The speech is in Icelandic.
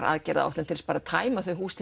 aðgerðaráætlun til að tæma þau hús